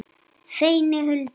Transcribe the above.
Seinni hluti.